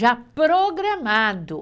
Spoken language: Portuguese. Já programado.